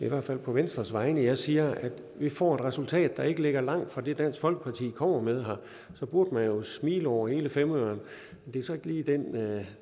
i hvert fald på venstres vegne jeg siger at vi får et resultat der ikke ligger langt fra det dansk folkeparti kommer med her så burde man jo smile over hele femøren